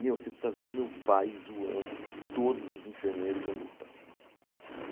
Meu, você precisa ver o meu pai zoando com todos os enfermeiros dentro do hospital.